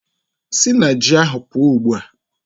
Sị na ji ahụ pụọ ugbu a!